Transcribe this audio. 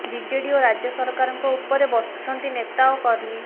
BJD ଓ ରାଜ୍ୟ ସରକାରଙ୍କ ଉପରେ ବର୍ଷୁଛନ୍ତି ନେତା ଓ କର୍ମୀ